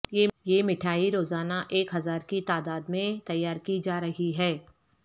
یہ مٹھائی روزانہ ایک ہزار کی تعداد میں تیار کی جا رہی ہے